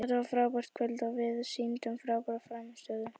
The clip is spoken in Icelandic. Þetta var frábært kvöld og við sýndum frábæra frammistöðu.